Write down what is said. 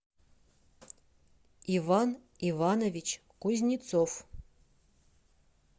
иван иванович кузнецов